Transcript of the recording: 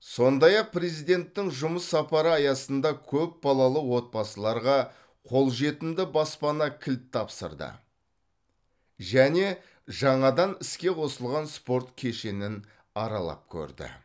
сондай ақ президенттің жұмыс сапары аясында көпбалалы отбасыларға қолжетімді баспана кілт тапсырды және жаңадан іске қосылған спорт кешенін аралап көрді